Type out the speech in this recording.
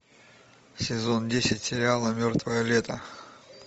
сезон десять сериала мертвое лето